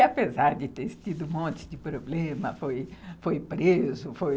E apesar de ter tido um monte de problema, foi preso, foi...